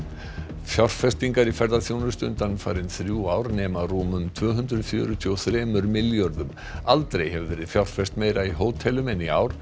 fjárfestingar í ferðaþjónustu undanfarin þrjú ár nema rúmum tvö hundruð fjörutíu og þrem milljörðum aldrei hefur verið fjárfest meira í hótelum en í ár